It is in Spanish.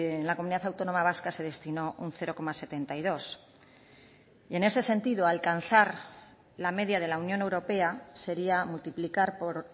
en la comunidad autónoma vasca se destinó un cero coma setenta y dos y en ese sentido alcanzar la media de la unión europea sería multiplicar por